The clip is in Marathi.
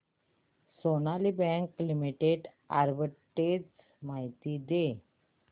सोनाली बँक लिमिटेड आर्बिट्रेज माहिती दे